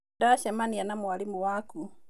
Nĩndacemania na mwarimũ waku